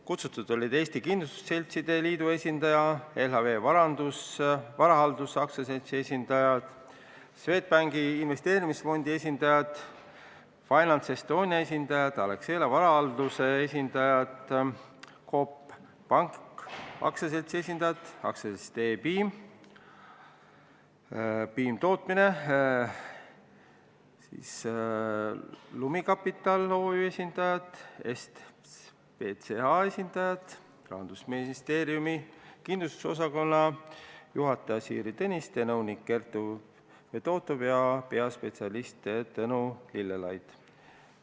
Kutsutud olid inimesed Eesti Kindlustusseltside Liidust, LHV Varahaldus AS-ist, Swedbank Investeerimisfondid AS-ist, FinanceEstoniast, Alexela Varahaldusest, Coop Pank AS-ist, AS-ist E-Piim Tootmine, Lumi Capital OÜ-st, EstVCA-st, samuti Rahandusministeeriumi kindlustuspoliitika osakonna juhataja Siiri Tõniste, nõunik Kertu Fedotov ja peaspetsialist Tõnu Lillelaid.